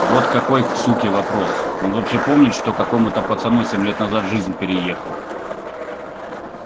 вот какой к суке вопрос он вообще помнит что какому-то пацану семь лет назад жизнь переехал